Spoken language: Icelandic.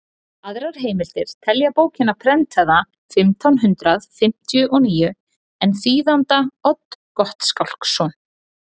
aðrar heimildir telja bókina prentaða fimmtán hundrað fimmtíu og níu en þýðanda odd gottskálksson